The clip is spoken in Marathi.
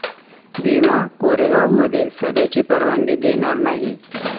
भीमा कोरेगावमध्ये सभेची परवानगी देणार नाही'